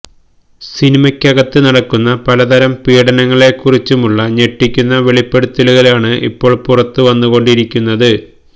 സിനിമയ്ക്കകത്ത് നടക്കുന്ന പലതരം പീഡനങ്ങളെ കുറിച്ചുമുള്ള ഞെട്ടിയ്ക്കുന്ന വെളിപ്പെടുത്തലുകളാണ് ഇപ്പോള് പുറത്ത് വന്നുകൊണ്ടിരിയ്ക്കുന്നത്